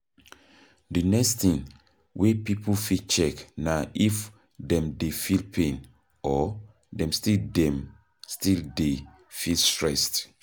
The next thing wey pipo fit check na if dem dey feel pain or dem still dem still dey feel stressed